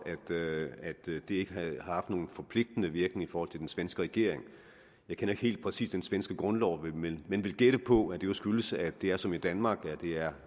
at det ikke har haft nogen forpligtende virkning i forhold til den svenske regering jeg kender ikke helt præcist den svenske grundlov men jeg vil gætte på at det jo skyldes at det som i danmark er